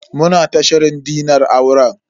Muna ta shirin dinar auren.